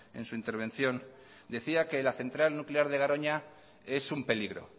en su intervención desea que la central nuclear de garoña es un peligro